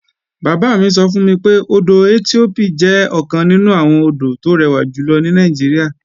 Bàbá mi sọ fún mi pé, odò Ethiope jẹ́ ọ̀kan nínú àwọn odò tó rẹwà jùlọ ní Nàìjíríà